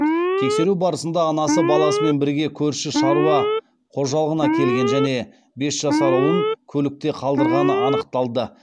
тексеру барысында анасы баласымен бірге көрші шаруа қожалығына келген және бес жасар ұлын көлікте қалдырғаны анықталды